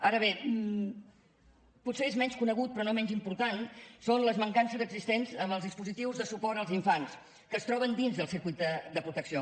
ara bé potser són menys conegudes però no menys importants les mancances existents en els dispositius de suport als infants que es troben dins del circuit de protecció